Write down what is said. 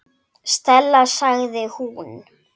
Stella sagði hún.